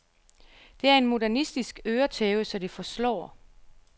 Det er en modernistisk øretæve så det forslår.